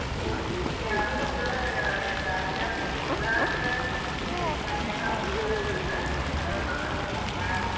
ಈಗ ಯಾವದೋ ಒಂದ್ ಇದ್ ಆ ಆಧ್ಯಾತ್ಮದ ನಿರಾಟ್, ಏನ್ ಒಂದ್ ಬಂದೇತಿ ಅಂತ ಆ .